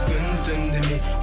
күн түн демей